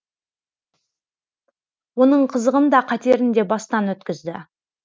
оның қызығын да қатерін де бастан өткізді